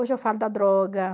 Hoje eu falo da droga.